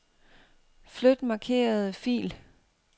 Flyt markerede fil.